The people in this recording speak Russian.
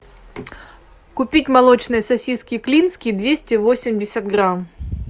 купить молочные сосиски клинские двести восемьдесят грамм